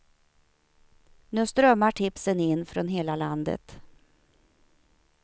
Nu strömmar tipsen in från hela landet.